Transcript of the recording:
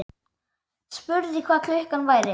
Spurði hvað klukkan væri.